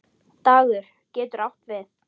Dagur getur átt við